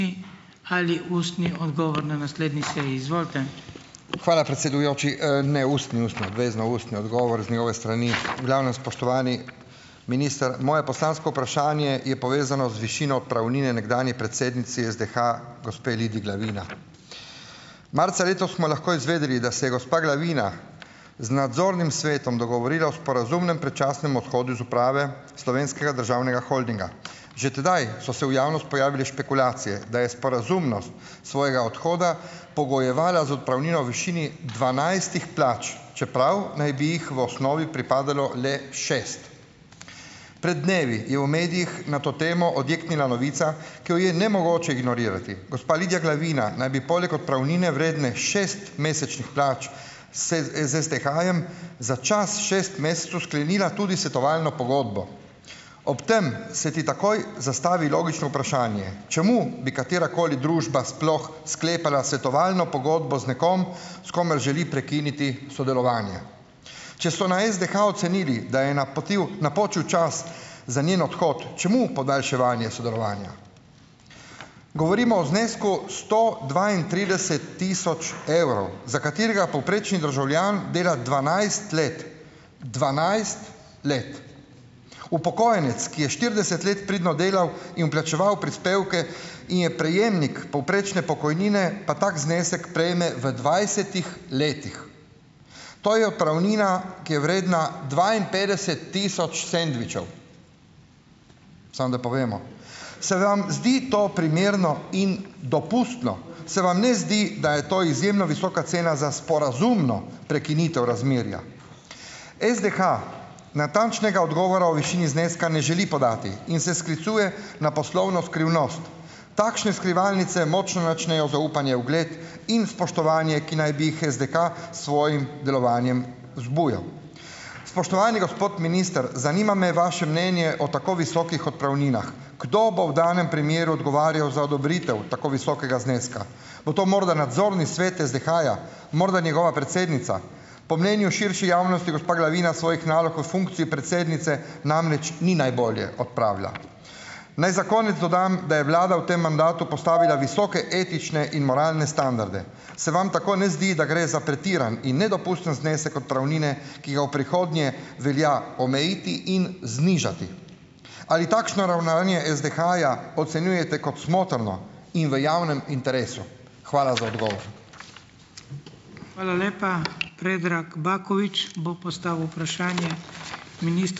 Halji ustni odgovor na naslednji seji . Izvolite. Hvala predsedujoči. ne, ustni, ustni, obvezno ustni odgovor z njegove strani . V glavnem, spoštovani minister. Moje poslansko vprašanje je povezano z višino odpravnine nekdanji predsednici SDH, gospe Lidiji Glavina . Marca letos smo lahko izvedeli, da se je gospa Glavina z nadzornim svetom dogovorila o sporazumnem predčasnem odhodu iz uprave Slovenskega državnega holdinga. Že tedaj so se v javnosti pojavile špekulacije, da je sporazumnost svojega odhoda pogojevala z odpravnino v višini dvanajstih plač, čeprav naj bi jih v osnovi pripadalo le šest. Pred dnevi je v medijih na to temo odjeknila novica, ki jo je nemogoče ignorirati. Gospa Lidija Glavina naj bi poleg odpravnine vredne šest mesečnih plač se z SDH-jem za čas šest mesecev sklenila tudi svetovalno pogodbo. Ob tem se ti takoj zastavi logično vprašanje: čemu bi katerakoli družba sploh sklepala svetovalno pogodbo z nekom, s komer želi prekiniti sodelovanje. Če so na SDH ocenili, da je napočil čas za njen odhod, čemu podaljševanje sodelovanja? Govorimo o znesku sto dvaintrideset tisoč evrov, za katerega povprečni državljan dela dvanajst let. Dvanajst let. Upokojenec, ki je štirideset let pridno delal in plačeval prispevke in je prejemnik povprečne pokojnine, pa tako znesek prejme v dvajsetih letih. To je odpravnina, ki je vredna dvainpetdeset tisoč sendvičev. Samo da povemo. Se vam zdi to primerno in dopustno? Se vam ne zdi, da je to izjemno visoka cena za sporazumno prekinitev razmerja? SDH natančnega odgovora o višini zneska ne želi podati. In se sklicuje na poslovno skrivnost. Takšne skrivalnice močno načnejo zaupanje, ugled in spoštovanje, ki naj bi jih SDH svojim delovanjem vzbujal. Spoštovani gospod minister. Zanima me vaše mnenje o tako visokih odpravninah. Kdo bo v danem primeru odgovarjal za odobritev tako visokega zneska? Bo to morda nadzorni svet SDH-ja? Morda njegova predsednica? Po mnenju širše javnosti gospa Glavina svojih nalog in funkcij predsednice namreč ni najbolje opravila. Naj za konec dodam, da je vlada v tem mandatu postavila visoke etične in moralne standarde. Se vam tako ne zdi, da gre za pretiran in nedopusten znesek odpravnine, ki ga v prihodnje velja omejiti in znižati? Ali takšno ravnanje SDH-ja ocenjujete kot smotrno? In v javnem interesu? Hvala za odgovor .